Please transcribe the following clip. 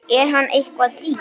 Er hann eitthvað dýr?